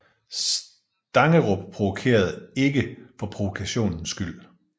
Stangerup provokerede ikke for provokationens skyld